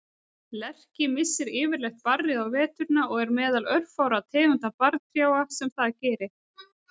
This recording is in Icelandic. Lerki missir yfirleitt barrið á veturna og er meðal örfárra tegunda barrtrjáa sem það gerir.